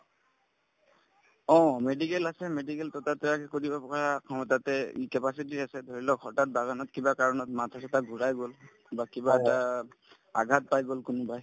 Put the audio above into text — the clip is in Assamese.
অ, medical আছে medical টো তাতে আগে কৰিব পৰা অ তাতে ই capacity আছে ধৰি লওক হঠাৎ বাগানত কিবা কাৰণত মাথা-চাথা ঘূৰাই গল বা কিবা এটা আঘাত পাই গল কোনবাই